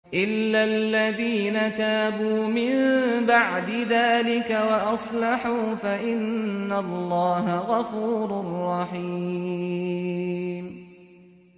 إِلَّا الَّذِينَ تَابُوا مِن بَعْدِ ذَٰلِكَ وَأَصْلَحُوا فَإِنَّ اللَّهَ غَفُورٌ رَّحِيمٌ